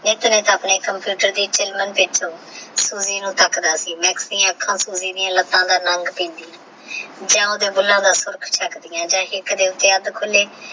ਓਹ ਬਸ ਆਪਣੇ ਕੰਪਿਊਟਰ ਦੀ ਬ੍ਸ ਸੂਜੀ ਨੂ ਤਕੜਾ ਸੀ ਮਾਕ੍ਸ ਦੀ ਆਖਾਂ ਸੂਜੀ ਦੀ ਲੱਤਾ ਦਾਰੰਗ ਯਾ ਓਹ੍ਨ੍ਦਾ ਬੁਲ੍ਲਾ ਦਾ ਸੁਰਖ ਚਾਕ੍ਦਿਯਾ ਨੇ